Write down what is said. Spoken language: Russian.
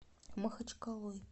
махачкалой